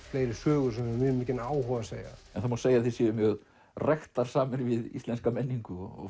fleiri sögur sem við höfum mjög mikinn áhuga á að segja það má segja að þið séuð mjög ræktarsamir við íslenska menningu og